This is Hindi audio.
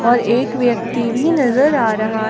और एक व्यक्ति भी नजर आ रहा--